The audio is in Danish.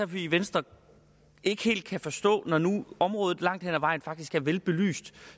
vi i venstre ikke helt kan forstå når nu området langt hen ad vejen faktisk er velbelyst